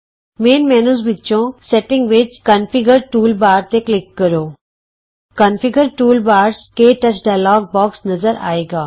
ਮੁੱਖ ਮੈਨਯੂ ਵਿਚੋਂ ਸੈਟਿੰਗ ਵਿਚ ਕੋਨਫਿਗਰ ਟੂਲਬਾਰਜ਼ ਤੇ ਕਲਿਕ ਕਰੋ ਕੋਨਫਿਗਰ ਟੂਲਬਾਰਜ਼ ਕੇ ਟੱਚ ਡਾਇਲੋਗ ਬੋਕਸ ਨਜ਼ਰ ਆਏਗਾ